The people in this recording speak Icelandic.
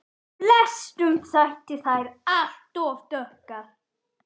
Flestum þótti þær alt of dökkar.